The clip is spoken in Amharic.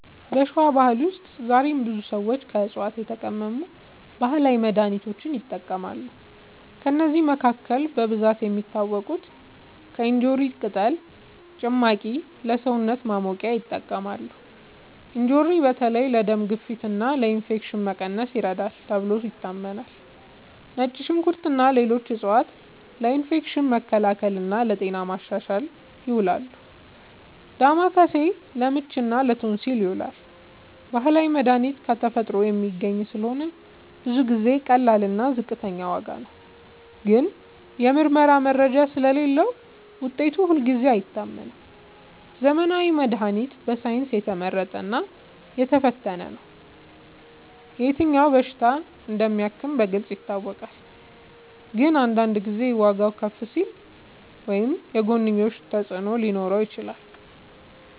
በሸዋ ባህል ውስጥ ዛሬም ብዙ ሰዎች ከዕፅዋት የተቀመሙ ባህላዊ መድሃኒቶችን ይጠቀማሉ። ከእነዚህ መካከል በብዛት የሚታወቁት፦ ፩. እንጆሪ ቅጠል ጭማቂ እና ለሰውነት ማሞቂያ ይጠቅማል። እንጆሪ በተለይ ለደም ግፊት እና ለኢንፌክሽን መቀነስ ይረዳል ተብሎ ይታመናል። ፪. ነጭ ሽንኩርት እና ሌሎች ዕፅዋት ለኢንፌክሽን መከላከል እና ለጤና ማሻሻል ይውላሉ። ፫. ዳማከሴ ለምች እና ለቶንሲል ይዉላል። ባህላዊ መድሃኒት ከተፈጥሮ የሚገኝ ስለሆነ ብዙ ጊዜ ቀላል እና ዝቅተኛ ዋጋ ነው። ግን የምርመራ መረጃ ስለሌለዉ ውጤቱ ሁልጊዜ አይታመንም። ዘመናዊ መድሃኒት በሳይንስ የተመረጠ እና የተፈተነ ነው። የትኛው በሽታ እንደሚያክም በግልጽ ይታወቃል። ግን አንዳንድ ጊዜ ዋጋዉ ከፍ ሊል ወይም የጎንዮሽ ተፅዕኖ ሊኖረው ይችላል።